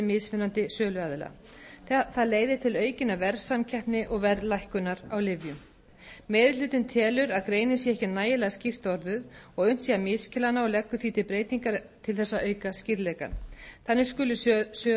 mismunandi söluaðila það leiðir til aukinnar verðsamkeppni og verðlækkunar á lyfjum meiri hlutinn telur að greinin sé ekki nægilega skýrt orðuð og að unnt sé að misskilja hana og leggur því til breytingar til þess að auka skýrleikann þannig skulu söluaðilar